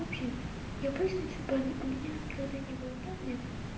в общем я просто ищу парня у меня никогда не было парня